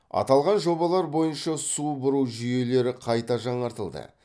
аталған жобалар бойынша су бұру жүйелері қайта жаңартылды